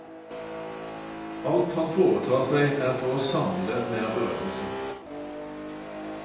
Alt han foretar seg er for å samle mer berømmelse.